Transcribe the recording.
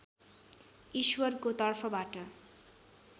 ईश्वरको तर्फबाट